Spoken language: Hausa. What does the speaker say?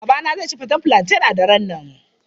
Babana zai ci faten fulanten a daren nan.